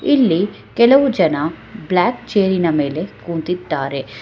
ಇಲ್ಲಿ ಕೆಲವು ಜನ ಬ್ಲಾಕ್ ಚೇರ್ ಇನ ಮೇಲೆ ಕೂತಿದ್ದಾರೆ.